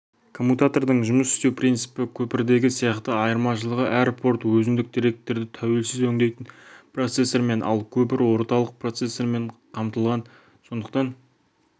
коммутатордың жұмыс істеу принципі көпірдегі сияқты айырмашылығы әр порт өзіндік деректерді тәуелсіз өндейтін процессормен ал көпір орталық процессормен қамтылған сондықтан